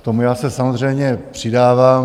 K tomu já se samozřejmě přidávám.